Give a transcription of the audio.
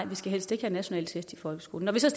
vi skal helst ikke have nationale test i folkeskolen når vi så